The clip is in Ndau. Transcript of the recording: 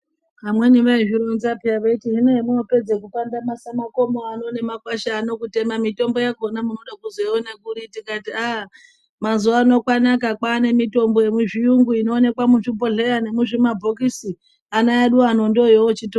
Vamweni vaizvironza pheya veiti hino hemwoopedza kupandamasa makomo ano nemakwasha ano kutema, mitombo yakhona munode kuzoione kuri. Tikati aa mazuwa ano kwanaka kwaane mitombo yemuzviyungu inoonekwa muzvibhodhleya nemuzvima bhokisi. Ana edu ano ndooyeoochito